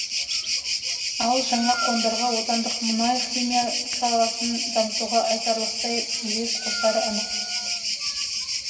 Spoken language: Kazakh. ал жаңа қондырғы отандық мұнай химия саласын дамытуға айтарлықтай үлес қосары анық